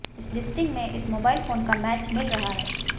इस लिस्टिंग में इस मोबाइल फोन का मैच मिल रहा है